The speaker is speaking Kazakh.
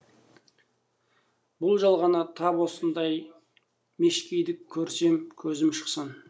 бұл жалғанда тап осындай мешкейді көрсем көзім шықсын